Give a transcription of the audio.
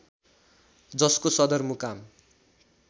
जसको सदर मुकाम